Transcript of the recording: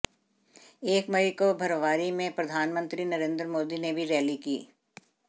एक मई को भरवारी में प्रधानमंत्री नरेंद्र मोदी ने भी रैली की